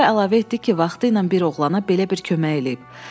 Sonra əlavə etdi ki, vaxtı ilə bir oğlana belə bir kömək eləyib.